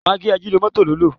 Magí ajínomọ́tò ló lò.